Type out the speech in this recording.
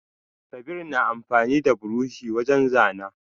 Kabir na amfani da buroshi wajen zana.